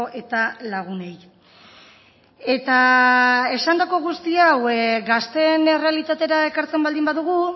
eta lagunei eta esandako guzti hau gazteen errealitatera ekartzen baldin badugu